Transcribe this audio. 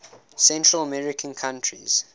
central american countries